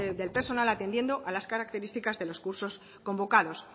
del personal atendiendo a las características de los cursos convocados